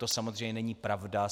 To samozřejmě není pravda.